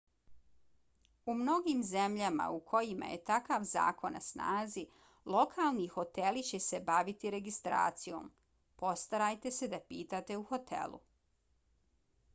u mnogim zemljama u kojima je takav zakon na snazi lokalni hoteli će se baviti registracijom postarajte se da pitate u hotelu